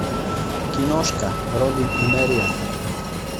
киношка робин и мэриан